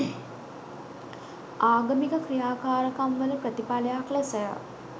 ආගමික ක්‍රියාකාරකම්වල ප්‍රතිඵලයක් ලෙසය.